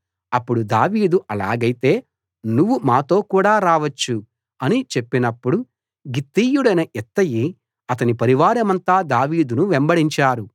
అప్పుడు దావీదు ఆలాగైతే నువ్వు మాతో కూడ రావచ్చు అని చెప్పినప్పుడు గిత్తీయుడైన ఇత్తయి అతని పరివారమంతా దావీదును వెంబడించారు